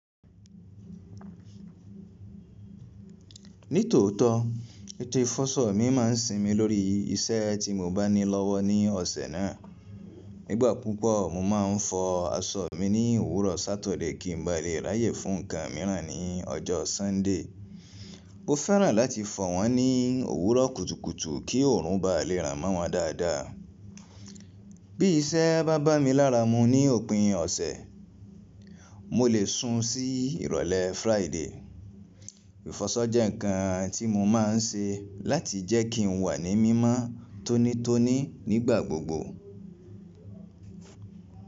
Nítòótọ́, ètò ìfọṣọ mi máa ń sinmi lórí iṣẹ́ tí mo bá ní lọ́wọ́ ní ọ̀sẹ̀ náà. Nígbà púpọ̀, mo máa ń fọ aṣọ mi ní òwúrọ̀ Saturday kí n ba lè ráyè fún nǹkan míràn ní ọjọ́ Sunday. Mo fẹ́ràn láti fọ wọ́n ní òwúrọ̀ kùtùkùtù kí òòrùn ba lè ràn mọ́ wọn dáadáa. Bí iṣẹ́ bá bámi láramu ní òpin ọ̀sẹ̀, mo le sun sí ìrọ̀lẹ́ Friday. Ìfọṣọ jẹ́ nǹkan tí mo máa ń ṣe láti jẹ́kí n wa ní mímọ́ tónítóní nígbà gbogbo.